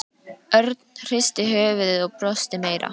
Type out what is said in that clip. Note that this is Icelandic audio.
Örn hristi höfuðið og brosti meira.